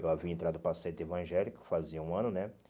Eu havia entrado para a sede evangélica fazia um ano, né?